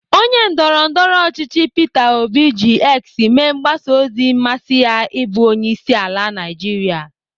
Onye ndọrọndọrọ ọchịchị Peter obi ji X mee mgbasa ozi mmasị ya ịbụ onyeisiala Naijiria.